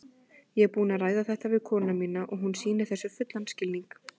Ég er búinn að ræða þetta við konuna mína og hún sýnir þessu fullan skilning.